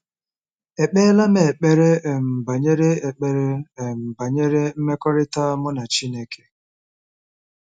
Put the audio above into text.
Ekpeela m ekpere um banyere ekpere um banyere mmekọrịta mụ na Chineke?